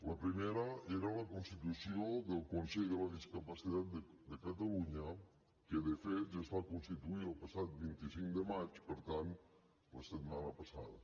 la primera era la constitució del consell de la discapacitat de catalunya que de fet ja es va constituir el passat vint cinc de maig per tant la setmana passada